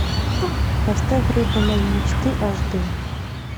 поставь рыба моей мечты аш дэ